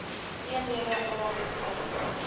eenhede a beskikbaar